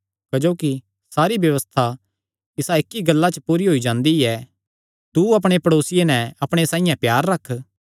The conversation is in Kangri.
क्जोकि सारी व्यबस्था इसा इक्की गल्ला च पूरी होई जांदी ऐतू अपणे प्ड़ेसिये नैं अपणे साइआं प्यार रख